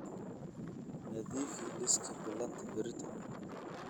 nadiifi liiska ballanta berrito